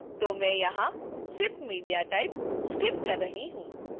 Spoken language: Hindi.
तो मैं यहाँ sip media type sip कर रही हूँ